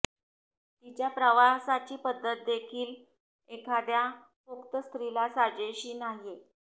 तिच्या प्रवासाची पद्धत देखील एखाद्या पोक्त स्त्रीला साजेशी नाहीये